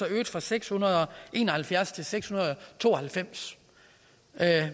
øget fra seks hundrede og en og halvfjerds til seks hundrede og to og halvfems